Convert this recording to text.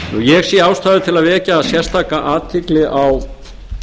ég sé ástæðu til að vekja sérstaka athygli aftur á